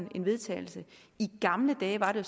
til vedtagelse i gamle dage var det